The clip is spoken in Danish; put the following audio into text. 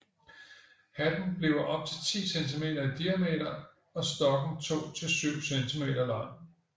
Hatten bliver op til 10 centimeter i diameter og stokken 2 til 7 cm lang